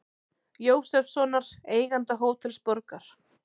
Jósefssonar, eiganda Hótels Borgar.